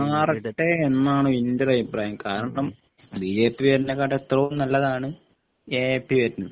മാറട്ടെ എന്നാണ് എൻ്റെ ഒരു അഭിപ്രായം കാരണം ബിജെപി വരുന്നതിനേക്കാൾ എത്രയോ നല്ലതാണ് എഎപി വരുന്നത്